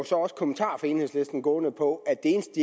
så også kommentarer fra enhedslisten gående på at det eneste